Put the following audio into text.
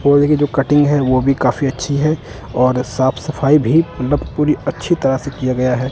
पौधे की जो कटिंग है वो भी काफी अच्छी है और साफ सफाई भी मतलब पूरी अच्छी तरह से किया गया है।